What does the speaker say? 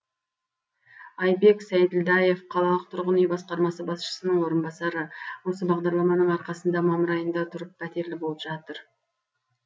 айбек сәйділдаев қалалық тұрғын үй басқармасы басшысының орынбасары осы бағдарламаның арқасында мамыр айында тұрып пәтерлі болып жатыр